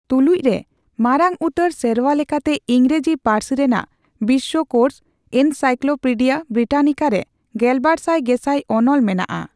ᱛᱩᱞᱩᱡᱽᱨᱮ, ᱢᱟᱨᱟᱝ ᱩᱛᱟᱹᱨ ᱥᱮᱨᱣᱟᱞᱮᱠᱟᱛᱮ ᱤᱝᱜᱨᱟᱹᱡᱤ ᱯᱟᱹᱨᱥᱤ ᱨᱮᱱᱟᱜ ᱵᱤᱥᱥᱚᱠᱳᱥ, ᱮᱱᱥᱟᱭᱠᱞᱳᱯᱤᱰᱤᱭᱟ ᱵᱨᱤᱴᱟᱱᱤᱠᱟ ᱨᱮ ᱜᱮᱞᱵᱟᱨᱥᱟᱭ ᱜᱮᱥᱟᱭ ᱚᱱᱚᱞ ᱢᱮᱱᱟᱜᱼᱟ ᱾